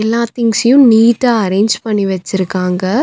எல்லா திங்ஸ்யு நீட்டா அரேஞ்ச் பண்ணி வெச்சிருக்காங்க.